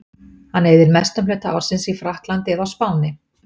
Hann eyðir mestum hluta ársins í Frakklandi eða á Spáni.